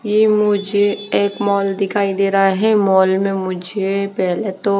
ये मुझे एक मॉल दिखाई दे रहा है मॉल में मुझे पहले तो--